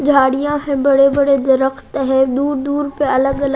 झाड़ियां है बड़े बड़े दीरख्त हैं दूर दूर पे अलग अल--